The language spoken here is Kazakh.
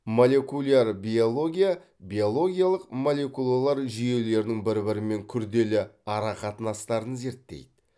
молекуляр биология биологиялық молекулалар жүйелерінің бір бірімен күрделі арақатынастарын зерттейді